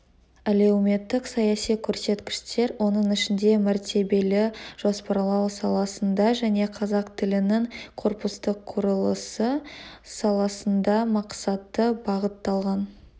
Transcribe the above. әлеуметтік-саяси көрсеткіштер оның ішінде мәртебелі жоспарлау саласында және қазақ тілінің корпустық құрылысы саласында мақсатты бағытталған